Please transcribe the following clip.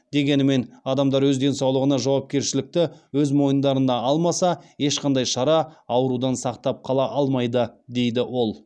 дегенімен адамдар өз денсаулығына жауапкершілікті өз мойындарына алмаса ешқандай шара аурудан сақтап қала алмайды дейді ол